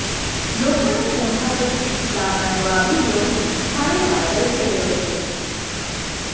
લોકોને મોઢા પર સ્મિત લાવનારો આ વીડિયો ભારે વાયરલ થઈ રહ્યો છે